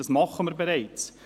das tun wir bereits.